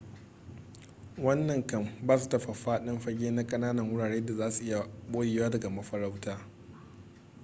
wannan kan ba su faffaɗan fage na kananan wurare da za su iya boyewa daga mafarauta